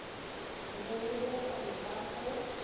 be le bokgoni ba ho